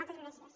moltes gràcies